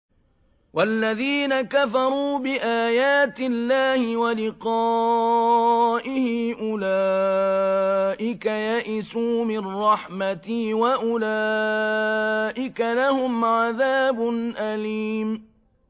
وَالَّذِينَ كَفَرُوا بِآيَاتِ اللَّهِ وَلِقَائِهِ أُولَٰئِكَ يَئِسُوا مِن رَّحْمَتِي وَأُولَٰئِكَ لَهُمْ عَذَابٌ أَلِيمٌ